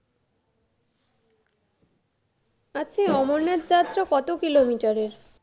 আচ্ছা এই অমরনাথ যাত্ৰা কত kilometre এর